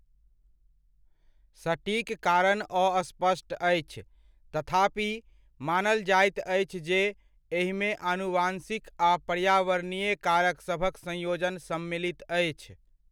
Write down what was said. सटीक कारण अस्पष्ट अछि, तथापि, मानल जाइत अछि जे एहिमे आनुवंशिक आ पर्यावरणीय कारकसभक संयोजन सम्मिलित अछि।